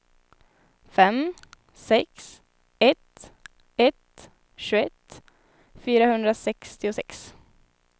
fem sex ett ett tjugoett fyrahundrasextiosex